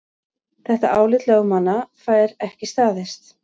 Þetta álit lögmannanna fær ekki staðist